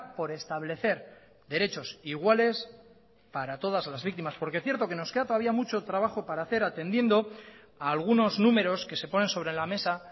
por establecer derechos iguales para todas las víctimas porque cierto que nos queda todavía mucho trabajo para hacer atendiendo a algunos números que se ponen sobre la mesa